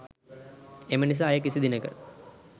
එම නිසා එය කිසි දිනක